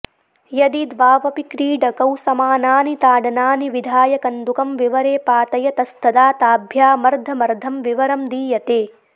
यदि द्वावपि क्रीडकौ समानानि ताडनानि विधाय कन्दुकं विवरे पातयतस्तदा ताभ्यामर्धमर्धं विवरं दीयते